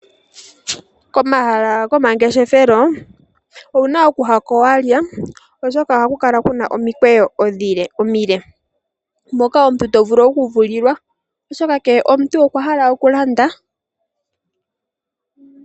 Komahala gomangeshefelo owuna okuya ko walya oshoka ohaku kala kuna omikweyo omile moka to vulu okuvulilwa oshoka kehe omuntu okwa hala okulanda.